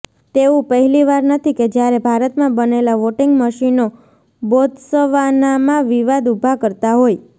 તેવું પહેલીવાર નથી કે જ્યારે ભારતમાં બનેલા વોટિંગ મશીનો બોત્સવાનામાં વિવાદ ઊભા કરતા હોય